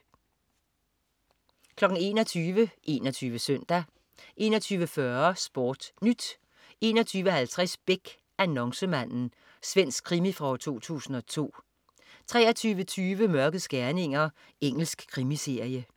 21.00 21 Søndag 21.40 SportNyt 21.50 Beck. Annoncemanden. Svensk krimi fra 2002 23.20 Mørkets gerninger. Engelsk krimiserie